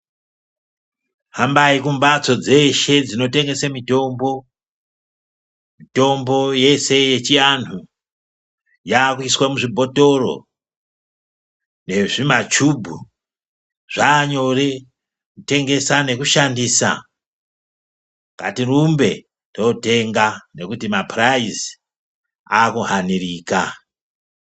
Hambai kunbatso dzeshe dzinotengesa mitombo. Mitombo yeshe yechiantu yakuuswa muzvibhotoro nezvimachubhu. Zvanyore kutengesa nekushandisa. Ngatirumbe totenga nekuti mapuraizi akuhanirika.